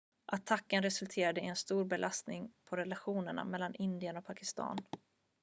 attacken resulterade i en stor belastning på relationerna mellan indien och pakistan